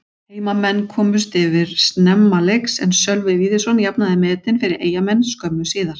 Heimamenn komust yfir snemma leiks en Sölvi Víðisson jafnaði metin fyrir Eyjamenn skömmu síðar.